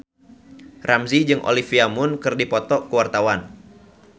Ramzy jeung Olivia Munn keur dipoto ku wartawan